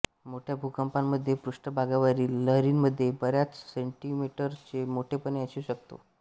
मोठ्या भूकंपांमधे पृष्ठभागावरील लहरींमध्ये बऱ्याच सेंटीमीटरचे मोठेपणा असू शकतो